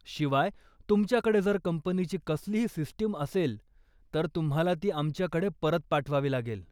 शिवाय, तुमच्याकडे जर कंपनीची कसलीही सिस्टम असेल, तर तुम्हाला ती आमच्याकडे परत पाठवावी लागेल.